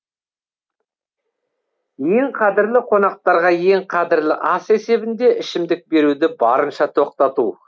ең қадірлі қонақтарға ең қадірлі ас есебінде ішімдік беруді барынша тоқтату